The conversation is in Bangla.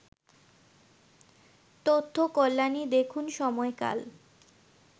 তথ্য কল্যাণী দেখুন সময়কাল